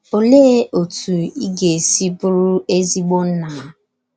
Olee otú ị ga - esi bụrụ ezigbo nna?